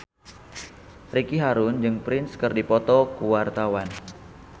Ricky Harun jeung Prince keur dipoto ku wartawan